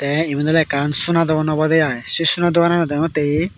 te iban ole ekkan sona dogan obode ai se sona doganot degongotte he.